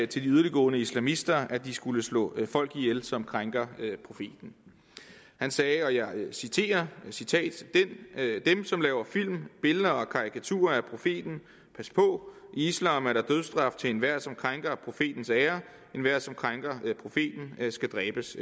til de yderligtgående islamister at de skulle slå folk ihjel som krænker profeten han sagde og jeg citerer dem som laver film billeder og karikaturer af profeten pas på i islam er der dødsstraf til enhver som krænker profetens ære enhver som krænker profeten skal dræbes